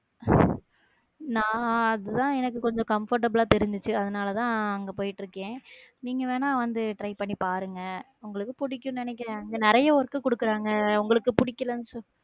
நான் அதுதான் எனக்கு கொஞ்சம் comfortable ஆ தெரிஞ்சுச்சு. அதனாலதான் அங்க போயிட்டு இருக்கேன். நீங்க வேணா வந்து try பண்ணி பாருங்க. உங்களுக்கு பிடிக்கும்னு நினைக்கிறேன். இங்க நிறைய work கொடுக்குறாங்க உங்களுக்கு பிடிக்கலைன்னு